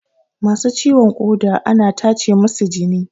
Masu ciwon ƙoda ana tacemusu jini